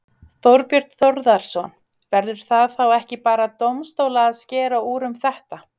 Þorbjörn Þórðarson: Verður það þá ekki bara dómstóla að skera úr um þetta?